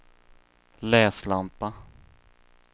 läslampa